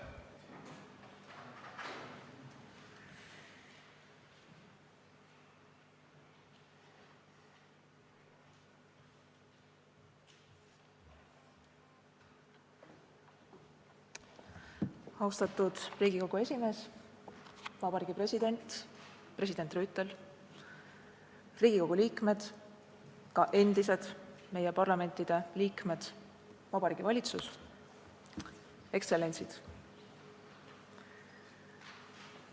Austatud Riigikogu esimees, Vabariigi President, president Rüütel, Riigikogu liikmed, endised parlamendiliikmed, Vabariigi Valitsus, ekstsellentsid!